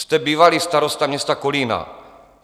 Jste bývalý starosta města Kolína.